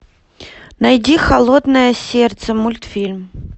найди холодное сердце мультфильм